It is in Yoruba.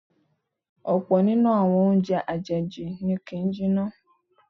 Ọ̀pọ̀ nínú àwọn oúnjẹ àjèjì ni kì ń jiná.